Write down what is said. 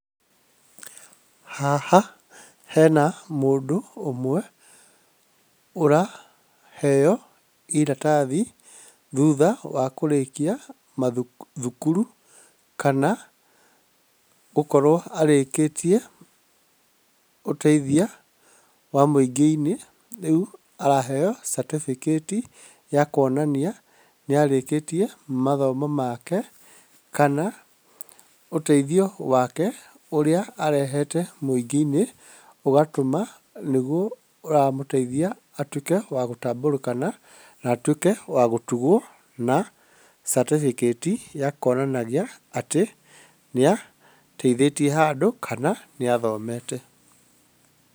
Haha hena mũndũ ũmwe ũraheo iratathi, thutha wa kũrĩkia thukuru kana gũkorwo arĩkĩtie ũteithia wa mũingĩ-inĩ. Rĩu araheo certificate ya kuonania nĩ arĩkĩtie mathomo make kana ũteithio wake ũrĩa arehete mũingĩ-inĩ, ũgatũma nĩguo ũramũteithia atuĩke wa gũtambũrĩkana na atuĩke wa gũtugwo na certificate ya kuonanagia atĩ nĩateithĩtie handũ kana nĩ athomete.